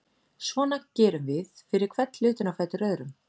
Svona gerum við fyrir hvern hlutinn á fætur öðrum.